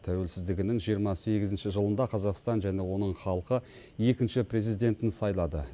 тәуелсіздігінің жиырма сегізінші жылында қазақстан және оның халқы екінші президентін сайлады